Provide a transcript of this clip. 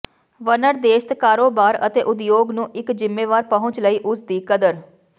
ਵਨਰਦੇਸ਼ਤ ਕਾਰੋਬਾਰ ਅਤੇ ਉਦਯੋਗ ਨੂੰ ਇਕ ਜ਼ਿੰਮੇਵਾਰ ਪਹੁੰਚ ਲਈ ਉਸ ਦੀ ਕਦਰ